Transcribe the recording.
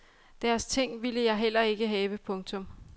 Deres ting ville jeg heller ikke have. punktum